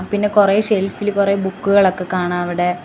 പിന്നെ കുറേ ഷെൽഫില് കുറെ ബുക്കുകളൊക്കെ കാണാ അവിടെ.